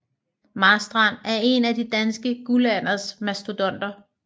Marstrand er en af den danske guldalders mastodonter